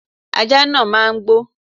Ajá náà máa gbó.